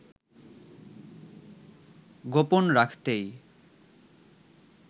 গোপন রাখতেই